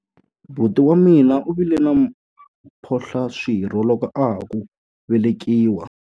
Buti wa mina u vile na mphohlaswirho loko a ha ku velekiwa.